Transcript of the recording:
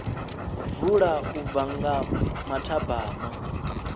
vula u bva nga mathabama